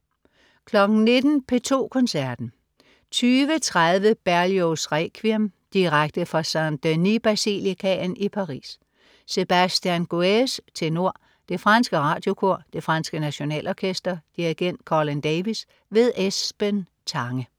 19.00 P2 Koncerten. 20.30 Berlioz' Requiem. Direkte fra Saint Denis Basilicaen i Paris. Sébastien Guèze, tenor. Det franske Radiokor. Det franske Nationalorkester. Dirigent: Colin Davis. Esben Tange